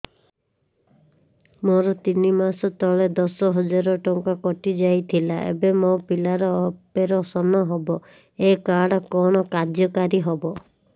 ମୋର ତିନି ମାସ ତଳେ ଦଶ ହଜାର ଟଙ୍କା କଟି ଯାଇଥିଲା ଏବେ ମୋ ପିଲା ର ଅପେରସନ ହବ ଏ କାର୍ଡ କଣ କାର୍ଯ୍ୟ କାରି ହବ